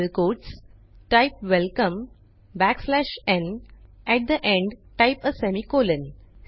printfवेलकम न्at the end type a semicolon